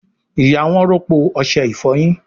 ìyá wón rọpo Ọṣẹ ìfọyín.